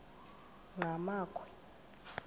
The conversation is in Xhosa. enqgamakhwe